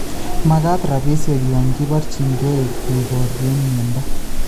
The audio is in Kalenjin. Makaat rabisiek yon kibarchiinkeey keboorye myondo